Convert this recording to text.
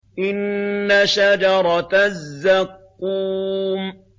إِنَّ شَجَرَتَ الزَّقُّومِ